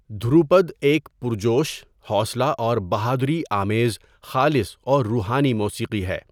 دھروپد ایک پُرجوش، حوصلہ اور بہادری آمیز، خالص اور روحانی موسیقی ہے۔